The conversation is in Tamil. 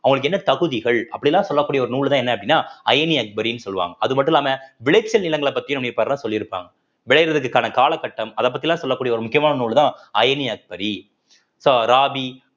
அவங்களுக்கு என்ன தகுதிகள் அப்படிலாம் சொல்லக்கூடிய ஒரு நூல்தான் என்ன அப்படின்னா அயினி அக்பரி சொல்லுவாங்க அது மட்டும் இல்லாம விளைச்சல் நிலங்களை பத்தியும் சொல்லிருப்பாங்க விளையறதுக்கான காலகட்டம் அதப்பத்திலாம் சொல்லக்கூடிய ஒரு முக்கியமான நூல்தான் அயனி அக்பரி so ராபி